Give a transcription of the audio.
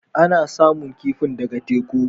Ana samun kifin ɗaga teku